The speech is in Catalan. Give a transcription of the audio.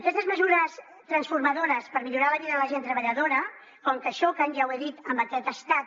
aquestes mesures transformadores per millorar la vida de la gent treballadora com que això que ja ho he dit en que aquest estat